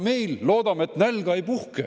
Meil, loodame, et nälga ei puhke.